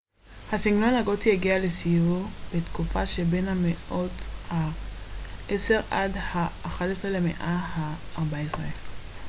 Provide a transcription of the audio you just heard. הסגנון הגותי הגיע לשיאו בתקופה שבין המאות ה-10עד ה-11 למאה ה-14